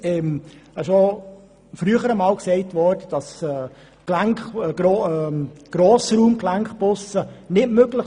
Übrigens wurde bereits früher einmal gesagt, Grossraum-Gelenkbusse seien nicht möglich.